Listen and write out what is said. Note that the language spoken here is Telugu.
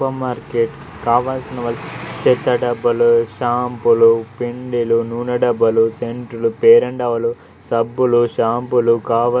సూపర్ మార్కెట్ కావలసిన వస్తు చెత్త డబ్బాలు షాంపూలు పిండిలు నూనె డబ్బాలు సెంట్లు ఫెయిర్ అండ్ లవ్లీ సబ్బులు షాంపూలు కావల --.